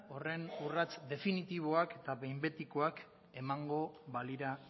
horren urrats definitiboak eta behin betikoak emango balira